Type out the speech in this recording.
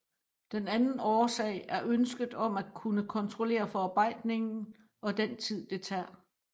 Den anden årsag er ønsket om at kunne kontrollere forarbejdningen og den tid det tager